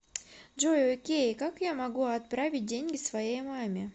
джой окей как я могу отправить деньги своей маме